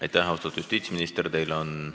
Aitäh, austatud justiitsminister!